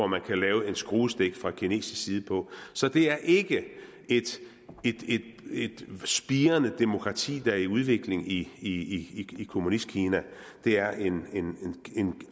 man kan lave en skruestik på fra kinesisk side så det er ikke et spirende demokrati der er i udvikling i kommunistkina det er en